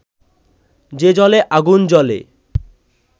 যে জলে আগুন জ্বলে